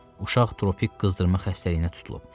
Uşaq tropik qızdırma xəstəliyinə tutulub.